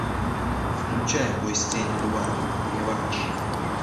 включай бой с тенью два реванш